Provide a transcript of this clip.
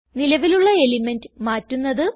നിലവിലുള്ള എലിമെന്റ് മാറ്റുന്നത്